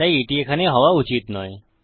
তাই এটি এখানে হওয়া উচিত নয়